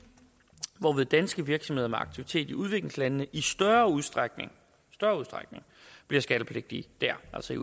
hvorved danske virksomheder med aktivitet i udviklingslandene i større udstrækning bliver skattepligtige der altså i